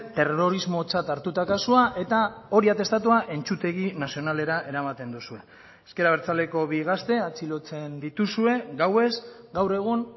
terrorismotzat hartuta kasua eta hori atestatua entzutegi nazionalera eramaten duzue ezker abertzaleko bi gazte atxilotzen dituzue gauez gaur egun